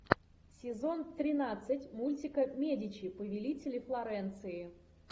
сезон тринадцать мультика медичи повелители флоренции